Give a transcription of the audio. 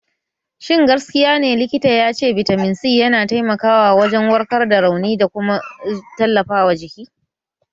Shin gaskiya ne likita ya ce bitamin C yana taimakawa wajen warkar da rauni da kuma tallafawa jiki?